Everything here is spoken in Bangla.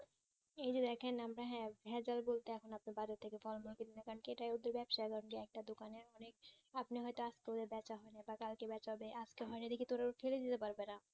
এই যে দেখেন আমরা হ্যাঁ ভেজাল বলতে এখন আপনি বাইরে থেকে ফল মূল কারণ এটাই হচ্ছে ব্যাবসার একটা দোকানের অনেক আপনি হয় তো আজকে বেচা হয়নি বা কালকে বেচা হবে আজকে হয় নি তো রোজ ফেলে দিতে পারবে না